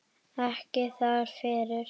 Ekki þar fyrir.